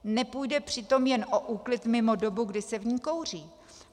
Nepůjde přitom jen o úklid mimo dobu, kdy se v ní kouří.